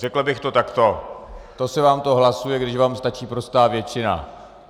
Řekl bych to takto - to se vám to hlasuje, když vám stačí prostá většina.